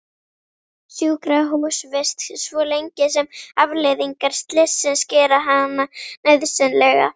Sjúkrahúsvist svo lengi sem afleiðingar slyssins gera hana nauðsynlega.